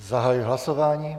Zahajuji hlasování.